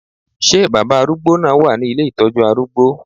Ṣé baba arúgbó náà wà ní ilé ìtọ́jú arúgbó?